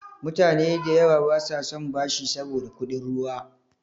Mutane da yawa basa son bashi saboda kuɗin ruwa.